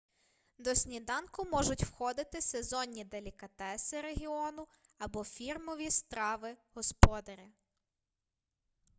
до сніданку можуть входити сезонні делікатеси регіону або фірмові страви господаря